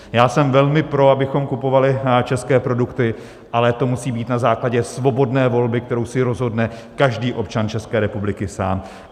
Já jsem velmi pro, abychom kupovali české produkty, ale to musí být na základě svobodné volby, kterou si rozhodne každý občan České republiky sám.